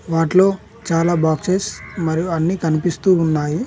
వాటిలో చాలా బాక్సెస్ మరియు అన్ని కనిపిస్తూ ఉన్నాయి.